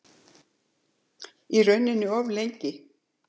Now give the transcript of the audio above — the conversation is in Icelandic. Í rauninni of lengi.